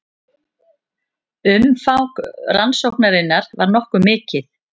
Umfang rannsóknarinnar var nokkuð mikið